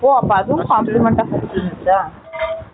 ஓ அப்ப not clear